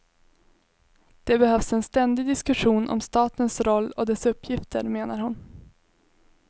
Det behövs en ständig diskussion om statens roll och dess uppgifter, menar hon.